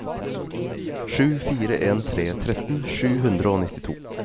sju fire en tre tretten sju hundre og nittito